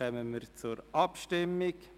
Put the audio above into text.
Wir kommen zur Abstimmung.